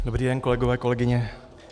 Dobrý den, kolegyně, kolegové.